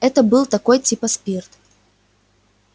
это был такой типа спирт